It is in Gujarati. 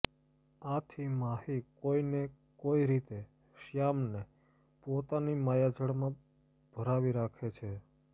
આથી માહી કોઈને કોઈ રીતે શ્યામને પોતાની માયાજાળમાં ભરાવી રાખે છે